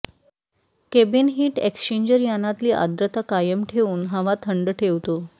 cabin heat exchanger यानातली आद्र्रता कायम ठेवून हवा थंड ठेवतो